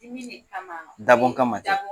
Dimi ne kamaa dabɔn kama tɛ dabɔ